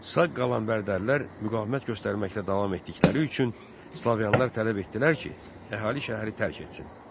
Sağ qalan bərdəlilər müqavimət göstərməkdə davam etdikləri üçün slavyanlar tələb etdilər ki, əhali şəhəri tərk etsin.